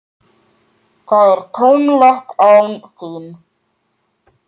Það er tómlegt án þín.